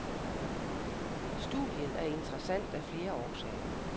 Studiet er interessant af flere årsager.